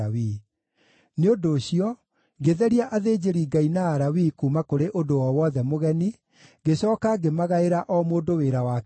Nĩ ũndũ ũcio, ngĩtheria athĩnjĩri-Ngai na Alawii kuuma kũrĩ ũndũ o wothe mũgeni, ngĩcooka ngĩmagaĩra o mũndũ wĩra wake kĩũmbe.